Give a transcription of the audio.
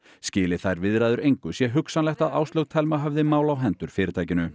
skili þær viðræður engu sé hugsanlegt að Áslaug Thelma höfði mál á hendur fyrirtækinu